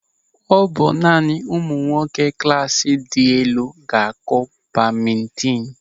Ọ bụ naanị ụmụ nwoke klasị dị elu ga-akụ badmintin.